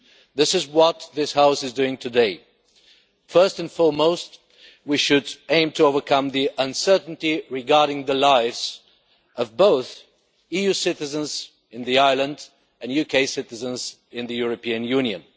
This is what this House is doing today. First and foremost, we should aim to overcome the uncertainty regarding the lives of both EU citizens on the island and UK citizens in the European Union.